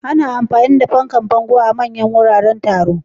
Ana amfani da fankar jikin bango a manyan wuraren taro.